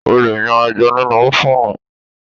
O lè yan ẹja nínú ófùnù